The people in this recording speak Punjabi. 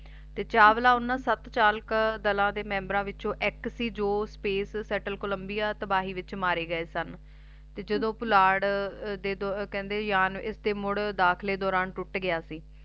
ਤੇ ਚਾਵਲਾ ਓਹਨਾ ਸਤ ਚਾਲਕ ਦਲਾ ਦੇ members ਵਿੱਚੋ ਇਕ ਸੀ ਜੌ Space Settle Columbia ਤਬਾਹੀ ਵਿਚ ਮਾਰੇ ਗਏ ਸਨ ਤੇ ਜਦੋਂ ਪੁਲਾੜ ਦੇ ਕਹਿੰਦੇ ਯਾਨ ਇਸਦੇ ਮੁੜ ਦਾਖਲੇ ਦੌਰਾਨ ਟੁੱਟ ਗਿਆ ਸੀ